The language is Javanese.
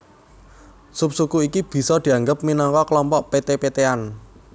Subsuku iki bisa dianggep minangka klompok peté petéan